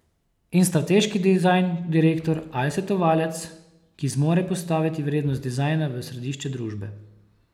In strateški dizajn direktor ali svetovalec, ki zmore postaviti vrednost dizajna v središče družbe.